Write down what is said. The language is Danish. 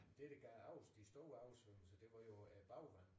Det der gav over de store oversvømmelser det var jo øh bagvand